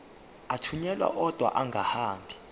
athunyelwa odwa angahambi